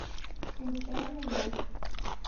случайный муж